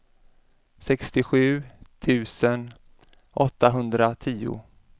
sextiosju tusen åttahundratio